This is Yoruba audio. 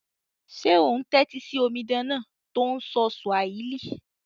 Sé o n tẹ́tí si omidan náà to n sọ Swahili?